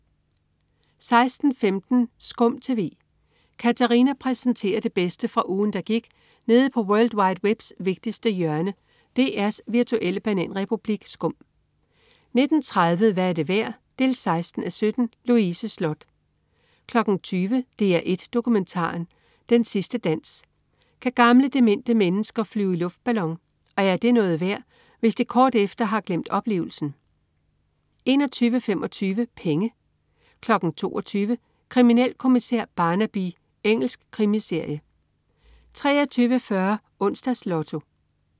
16.15 SKUM TV. Katarina præsenterer det bedste fra ugen, der gik nede på world wide webs vigtigste hjørne, DR's virtuelle bananrepublik SKUM 19.30 Hvad er det værd? 16:17. Louise Sloth 20.00 DR1 Dokumentaren. Den sidste dans. Kan gamle, demente mennesker flyve i luftballon? Og er det noget værd, hvis de kort efter har glemt oplevelsen? 21.25 Penge 22.00 Kriminalkommissær Barnaby. Engelsk krimiserie 23.40 Onsdags Lotto